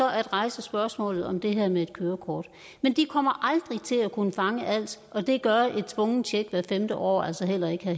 at rejse spørgsmålet om det her med et kørekort men de kommer aldrig til at kunne fange alt og det gør et tvungent tjek hvert femtende år altså heller ikke